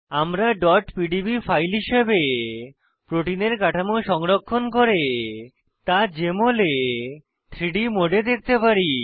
আমরা pdb file হিসাবে প্রোটিনের কাঠামো সংরক্ষণ করে তা জেএমএল এ 3ডি মোডে দেখতে পারি